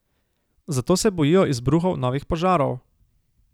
Zato se bojijo izbruhov novih požarov.